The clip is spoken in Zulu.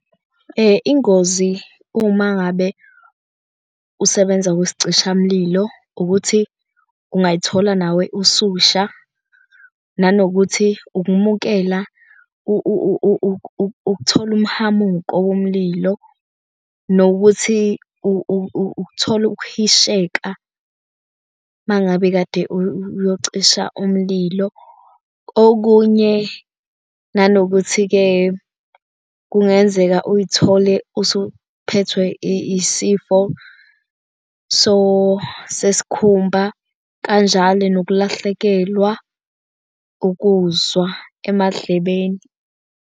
Ingozi uma ngabe usebenza kwisicishamlilo ukuthi ungayithola nawe ususha nanokuthi ukumukela ukuthola umhamuko womlilo nokuthi ukuthola ukuhisheka uma ngabe kade uyocisha umlilo. Okunye nanokuthi-ke kungenza uzithole usuphethwe isifo sesikhumba kanjalo nokulahlekelwa ukuzwa emadlebeni.